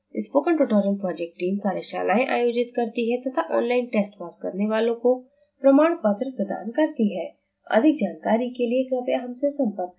spoken tutorial project team कार्यशालाएं आयोजित करती है तथा ऑनलाइन टेस्ट पास करने वालों को प्रमाण पत्र प्रदान करती है अधिक जानकारी के लिए कृपया हमसे संपर्क करें